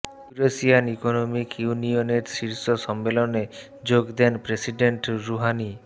Eurasian economic ইউনিয়নের শীর্ষ সম্মেলনে যোগ দেন প্রেসিডেন্ট রুহানি